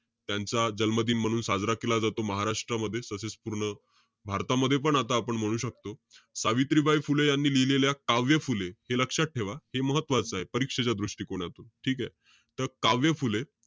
त्यांचा जन्मदिन म्हणून साजरा केला जातो. महाराष्ट्रामध्ये तसेच पूर्ण भारतामध्येपण आता आपण म्हणू शकतो. सावित्रीबाई फुले यांनी, लिहिलेल्या काव्य फुले, हे लक्षात ठेवा हे महत्वाचं आहे. परीक्षेच्या दृष्टिकोनातून. ठीकेय? त काव्य फुले,